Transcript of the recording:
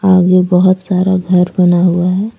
आगे बहोत सारा घर बना हुआ है।